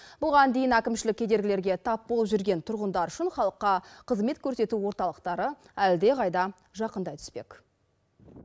бұған дейін әкімшілік кедергілерге тап болып жүрген тұрғындар үшін халыққа қызмет көрсету орталықтары әлдеқайда жақындай түспек